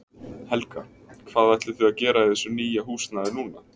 Helga: Hvað ætlið þið að gera í þessu nýja húsnæði núna?